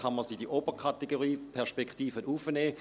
Kann man es in die obere Kategorie Perspektiven heraufnehmen?